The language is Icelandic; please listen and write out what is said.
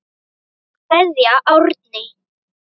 Kveðja Árný.